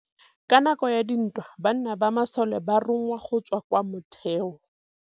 Ka nakô ya dintwa banna ba masole ba rongwa go tswa kwa mothêô.